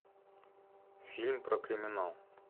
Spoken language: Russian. фильм про криминал